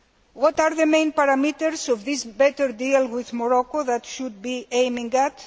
What are the main parameters of this better deal with Morocco that we should be aiming at?